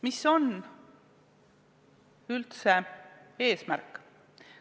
Mis on üldse eesmärk?